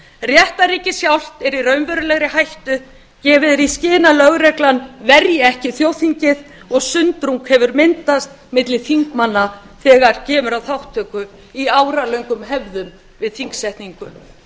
réttarríkið sjálft er í raunverulegri hættu gefið er í skyn að lögreglan verji ekki þjóðþingið og sundrung hefur myndast milli þingmanna þegar kemur að þátttöku í óralöngum hefðum við þingsetningu